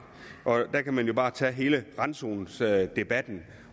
der kan man jo bare tage hele randzonedebatten